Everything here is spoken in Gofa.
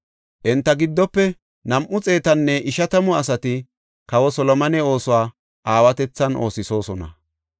Enta giddofe nam7u xeetanne ishatamu asati kawa Solomone oosuwa aawatethan oosisosona.